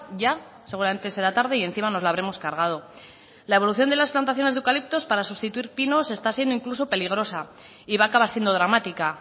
ya seguramente será tarde y encima nos la habremos cargado la evolución de las plantaciones de eucaliptos para sustituir pinos está siendo incluso peligrosa y va a acabar siendo dramática